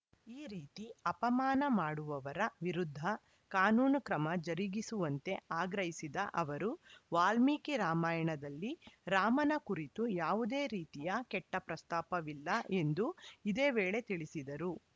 ಈ ರೀತಿ ಅಪಮಾನ ಮಾಡುವವರ ವಿರುದ್ಧ ಕಾನೂನು ಕ್ರಮ ಜರುಗಿಸುವಂತೆ ಆಗ್ರಹಿಸಿದ ಅವರು ವಾಲ್ಮೀಕಿ ರಾಮಾಯಣದಲ್ಲಿ ರಾಮನ ಕುರಿತು ಯಾವುದೇ ರೀತಿಯ ಕೆಟ್ಟಪ್ರಸ್ತಾಪವಿಲ್ಲ ಎಂದು ಇದೇ ವೇಳೆ ತಿಳಿಸಿದರು